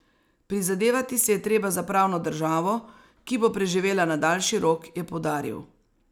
Prizadevati si je treba za pravno državo, ki bo preživela na daljši rok, je poudaril.